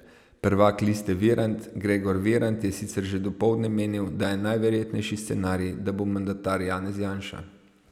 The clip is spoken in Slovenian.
Prvak Liste Virant Gregor Virant je sicer že dopoldne menil, da je najverjetnejši scenarij, da bo mandatar Janez Janša.